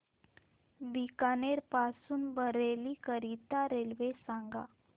बीकानेर पासून बरेली करीता रेल्वे सांगा